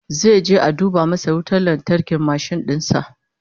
Zai je a duba masa wutar lantarkin mashin din sa